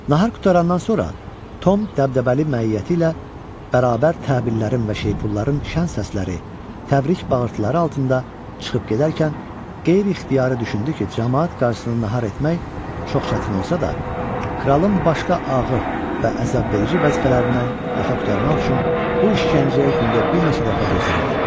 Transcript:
Nahar qurtarandan sonra Tom dəbdəbəli məiyyəti ilə bərabər təbillərin və şeypulların şan səsləri, təbrik bağırtıları altında çıxıb gedərkən qeyri-ixtiyari düşündü ki, camaat qarşısını nahar etmək çox çətin olsa da, kralın başqa ağır və əzabverici vəzifələrindən yaxa qurtarmaq üçün bu işgəncəyə gündə bir neçə dəfə dözərdi.